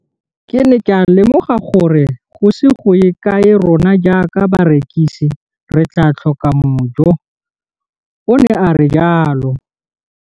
Ke ne ka lemoga gore go ise go ye kae rona jaaka barekise re tla tlhoka mojo, o ne a re jalo.